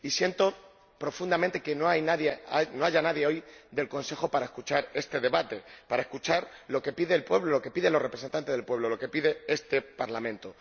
Siento profundamente que no haya nadie hoy del Consejo para escuchar este debate, para escuchar lo que pide el pueblo, lo que piden los representantes del pueblo, lo que pide este Parlamento.